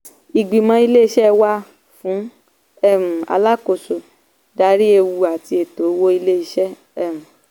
ìgbìmọ̀ ilé-iṣẹ́ wà fún um alákòóso darí ewu àti ètò owó ilé-iṣẹ́. um